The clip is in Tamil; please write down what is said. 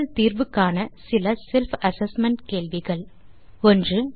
நீங்கள் தீர்வு காண இதோ சில செல்ஃப் அசெஸ்மென்ட் கேள்விகள் 1